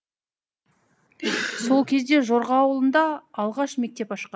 сол кезде жорға ауылында алғаш мектеп ашқан